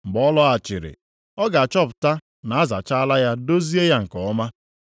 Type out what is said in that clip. Mgbe ọ lọghachiri, ọ ga-achọpụta na a zachaala ya dozie ya nke ọma.